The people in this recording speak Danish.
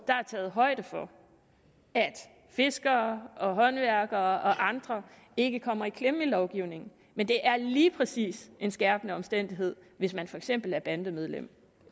er taget højde for at fiskere håndværkere og andre ikke kommer i klemme i lovgivningen men det er lige præcis en skærpende omstændighed hvis man for eksempel er bandemedlem